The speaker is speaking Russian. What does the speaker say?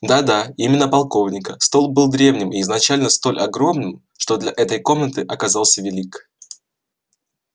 да да именно полковника стол был древним и изначально столь огромным что для этой комнаты оказался велик